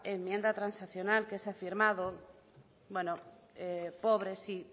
enmienda transaccional que se ha firmado pobre sí